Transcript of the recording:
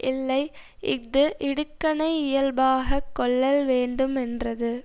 இல்லை இஃது இடுக்கணை யியல்பாகக் கொள்ளல்வேண்டு மென்றது